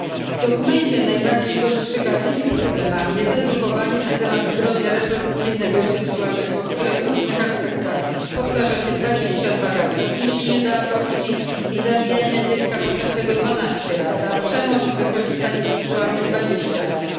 W dokumencie najbardziej dostrzegalnymi problemami są edukowanie na temat zdrowia reprodukcyjnego i seksualnego, które w różnych aspektach powtarza się dwadzieścia dwa razy, odniesienie do aborcji i zabijania dziecka poczętego dwanaście razy, a przemoc i wykorzystanie seksualne dwadzieścia razy.